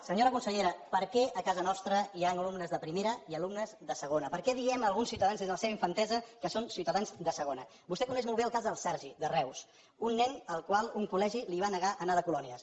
senyora consellera per què a casa nostra hi han alumnes de primera i alumnes de segona per què diem a alguns ciutadans des de la seva infantesa que són ciutadans de segona vostè coneix molt bé el cas del sergi de reus un nen al qual un col·legi li va negar anar de colònies